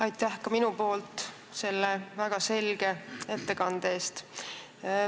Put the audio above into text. Aitäh ka minu poolt selle väga selge ettekande eest!